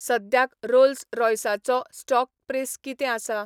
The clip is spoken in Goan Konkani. सद्याक रोल्स रॉय्साचो स्टॉक प्रेस कितें आसा?